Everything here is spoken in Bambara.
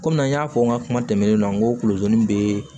Komi an y'a fɔ n ka kuma tɛmɛnenw na n ko kudon bɛ